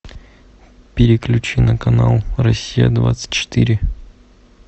переключи на канал россия двадцать четыре